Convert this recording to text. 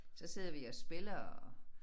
Så sidder vi og spiller og